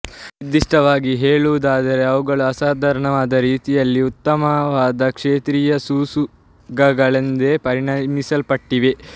ನಿರ್ದಿಷ್ಟವಾಗಿ ಹೇಳುವುದಾದರೆ ಅವು ಅಸಾಧಾರಣವಾದ ರೀತಿಯಲ್ಲಿ ಉತ್ತಮವಾದ ಕ್ಷೇತ್ರೀಯ ಸೂಸುಗಗಳೆಂದು ಪರಿಗಣಿಸಲ್ಪಟ್ಟಿವೆ